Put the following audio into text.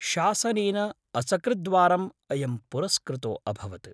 शासनेन असकृद्वारम् अयं पुरस्कृतो अभवत्।